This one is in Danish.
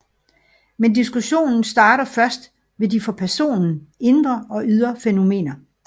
Men diskussionen starter først ved de for personen indre og ydre fænomener